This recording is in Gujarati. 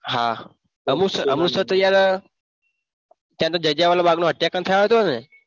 અમૃતસર અમૃતસર તો યાર જલિયાવાલા બાગનું હત્યાકાંડ થયું હતું ને?